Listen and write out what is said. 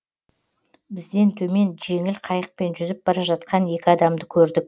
бізден төмен жеңіл қайықпен жүзіп бара жатқан екі адамды көрдік